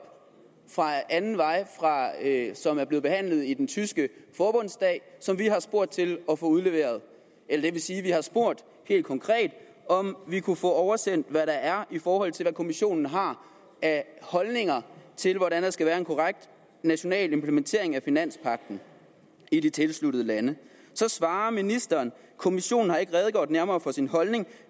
ad anden vej som er blevet behandlet i den tyske forbundsdag som vi har spurgt til og udleveret eller det vil sige at vi har spurgt helt konkret om vi kunne få oversendt hvad der er i forhold til hvad kommissionen har af holdninger til hvordan der skal være en korrekt national implementering af finanspagten i de tilsluttede lande så svarer ministeren kommissionen har ikke redegjort nærmere for sin holdning